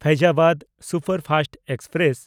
Faizabad superfast express